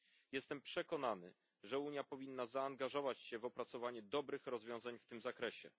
Jestem przekonany, że Unia powinna zaangażować się w opracowanie dobrych rozwiązań w tym zakresie.